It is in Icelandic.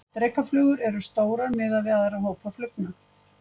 Drekaflugur eru stórar miðað við aðra hópa flugna.